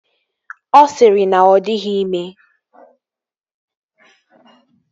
Ọ sịrị na ọ dịghị ime